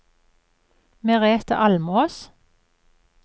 Merethe Almås